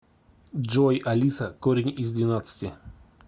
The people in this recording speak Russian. джой алиса корень из двенадцати